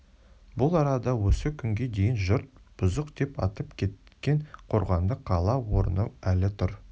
бұл арада осы күнге дейін жұрт бұзық деп атап кеткен қорғанды қала орны әлі тұр